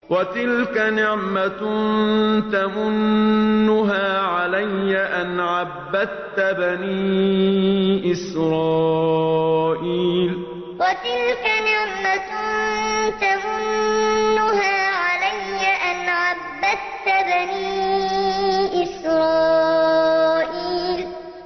وَتِلْكَ نِعْمَةٌ تَمُنُّهَا عَلَيَّ أَنْ عَبَّدتَّ بَنِي إِسْرَائِيلَ وَتِلْكَ نِعْمَةٌ تَمُنُّهَا عَلَيَّ أَنْ عَبَّدتَّ بَنِي إِسْرَائِيلَ